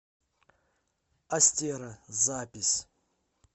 астера запись